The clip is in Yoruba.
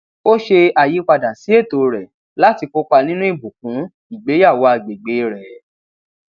ó ṣe àyípadà sí ètò rẹ láti kópa nínú ìbùkún ìgbéyàwó agbègbè rẹ